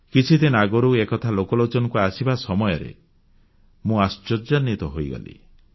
କିଛିଦିନ ଆଗରୁ ଏ କଥା ଲୋକଲୋଚନକୁ ଆସିବା ସମୟରେ ମୁଁ ଆଶ୍ୱର୍ଯ୍ୟାନ୍ୱିତ ହୋଇଗଲି